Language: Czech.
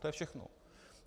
To je všechno.